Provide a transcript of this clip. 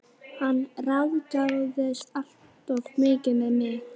Hann ráðskaðist alltof mikið með mig.